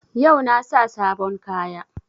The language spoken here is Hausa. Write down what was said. Yau na sa sabon kaya